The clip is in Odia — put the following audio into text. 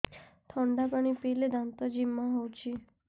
ଥଣ୍ଡା ପାଣି ପିଇଲେ ଦାନ୍ତ ଜିମା ହଉଚି